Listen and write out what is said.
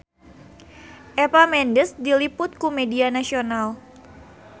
Eva Mendes diliput ku media nasional